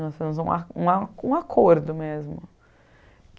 Nós fizemos um a um a um acordo mesmo.